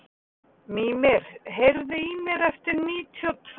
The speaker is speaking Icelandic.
Mímir, heyrðu í mér eftir níutíu og tvær mínútur.